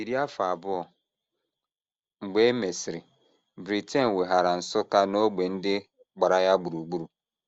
Iri afọ abụọ mgbe e mesịrị, Britain weghaara Nsukka na ógbè ndị gbara ya gburugburu.